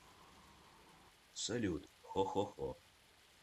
салют хо хо хо